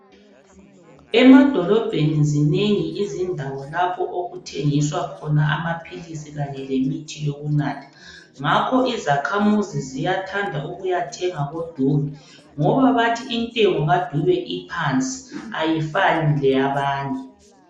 Emadolobheni zinengi izindawo lapho okuthengiswa khona amaphilisi kanye lemithi yokunatha, ngakho izakhamuzi ziyathanda ukuyathenga koDube, ngoba bathi intengo kaDube iphansi ayifani leyabanye.